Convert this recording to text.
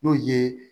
N'o ye